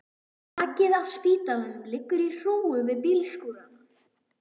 Brakið af spítalanum liggur í hrúgu við bílskúrana.